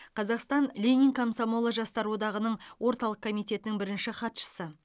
қазақстан ленин комсомолы жастар одағының орталық комитетінің бірінші хатшысы